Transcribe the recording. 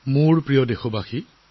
মোৰ প্ৰিয় দেশবাসী